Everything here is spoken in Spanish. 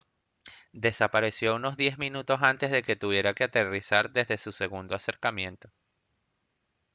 desapareció unos diez minutos antes de que tuviera que aterrizar desde su segundo acercamiento